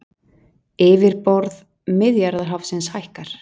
Yfirborð Miðjarðarhafsins hækkar